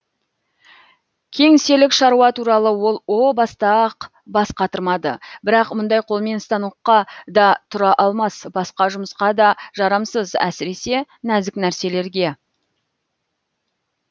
кеңселік шаруа туралы ол о баста ақ бас қатырмады бірақ мұндай қолмен станокқа да тұра алмас басқа жұмысқа да жарамсыз әсіресе нәзік нәрселерге